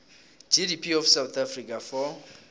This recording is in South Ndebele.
gdp of south africa for